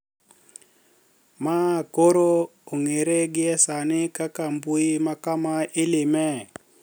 Ma koro ong`ere gie sani kaka mbui ma kama ileme